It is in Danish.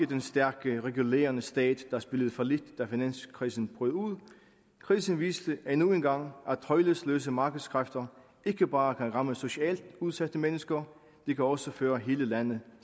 den stærke regulerende stat der spillede fallit da finanskrisen brød ud krisen viste endnu en gang at tøjlesløse markedskræfter ikke bare kan ramme socialt udsatte mennesker de kan også føre hele lande